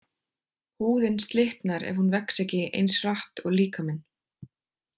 Húðin slitnar ef hún vex ekki eins hratt og líkaminn.